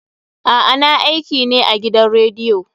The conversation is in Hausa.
A'a, na aiki ne a gidan rediyo.